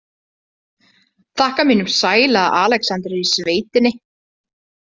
Þakka mínum sæla að Alexander er í sveitinni.